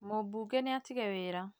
Mũmbunge nì atigire wĩra